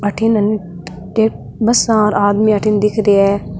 अठिन बस और आदमी अठिन दिख रेया है।